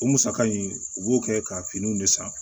O musaka in u b'o kɛ ka finiw de san